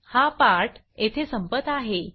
हा पाठ येथे संपत आहे